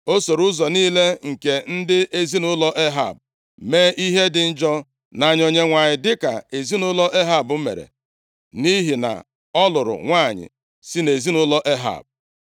O soro ụzọ niile nke ndị ezinaụlọ Ehab, mee ihe dị njọ nʼanya Onyenwe anyị dịka ezinaụlọ Ehab mere, nʼihi na ọ lụrụ nwanyị si nʼezinaụlọ Ehab.